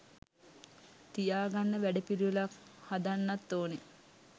තියාගන්න වැඩපිළිවෙලක් හදන්නත් ඕනෙ